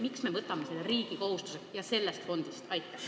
Miks me võtame selle riigi kohustuseks ja maksame sellest fondist?